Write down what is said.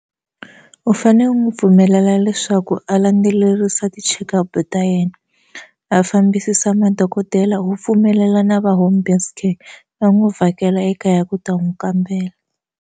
U fane u n'wi pfumelela leswaku a landzelerisa ti-checkup ta yena a fambisisa madokodela wu pfumelela na va home based care va n'wi vhakela ekaya ku ta n'wi kambela.